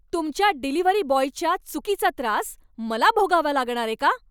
तुमच्या डिलिव्हरी बॉयच्या चुकीचा त्रास मला भोगावा लागणारे का?